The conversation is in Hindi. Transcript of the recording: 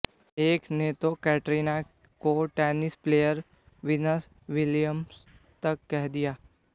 एक ने तो कैटरीना को टेनिस प्लेयर विनस विलियम्स तक कह दिया